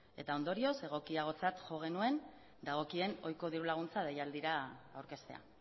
eta ondorioz egokiagotzat jo genuen dagokien ohiko diru laguntza deialdira aurkeztea